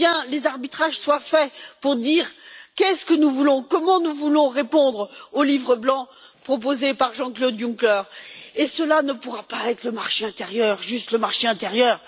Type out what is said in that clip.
les arbitrages soient faits pour dire ce que nous voulons, comment nous voulons répondre au livre blanc proposé par Jean Claude Juncker et cela ne pourra pas être le marché intérieur, juste le marché intérieur.